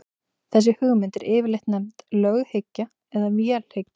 þessi hugmynd er yfirleitt nefnd löghyggja eða vélhyggja